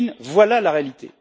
Poutine, voilà la réalité.